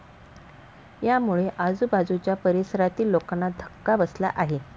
यामुळे आजूबाजुच्या परिसरातील लोकांना धक्का बसला आहे.